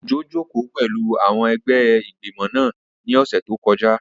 Òjó jòkó pẹ̀lú àwọn ẹgbẹ́ ìgbìmọ̀ náà ní ọ̀sẹ̀ tó kọjá